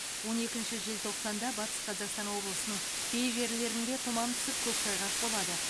он екініші желтоқсанда батыс қазақстан облысының кей жерлерінде тұман түсіп көктайғақ болады